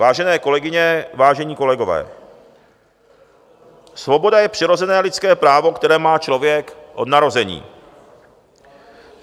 Vážené kolegyně, vážení kolegové, svoboda je přirozené lidské právo, které má člověk od narození.